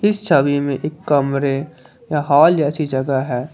छवि में एक कमरे या हाल जैसी जगह है।